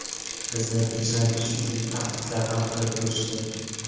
Bizni tinchlantirish uchun tahdidlar ham qilib ko‘rishdi.